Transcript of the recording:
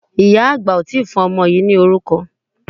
Ìyá àgbà ò tí ì fún ọmọ yìí lórúkọ.